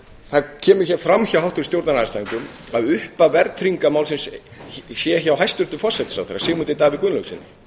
það kemur hér fram hjá háttvirtum stjórnarandstæðingum að upphaf verðtryggingarmálsins sé hjá hæstvirtum forsætisráðherra sigmundi davíð gunnlaugssyni